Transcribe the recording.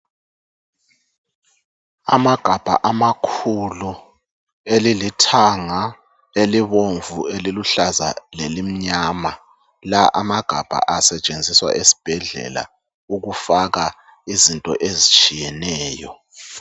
Amagabha amakhulu, elilithanga, elibomvu, eliluhlaza lelimnyama. La amagabha asetshenziswa esibhedlela ukufaka izinto ezitshiyeneyo.